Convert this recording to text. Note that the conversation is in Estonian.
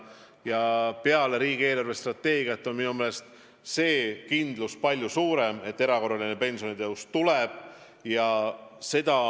Ja peale riigi eelarvestrateegia kinnitamist on kindlus, et erakorraline pensionitõus tuleb, minu meelest palju suurem.